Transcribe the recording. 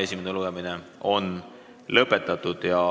Esimene lugemine on lõpetatud.